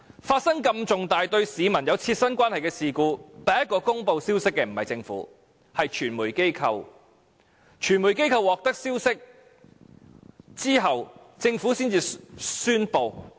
發生如此重大、對市民有切身關係的事故，第一個公布消息的不是政府，而是傳媒機構，在傳媒機構獲得消息後，政府才作宣布。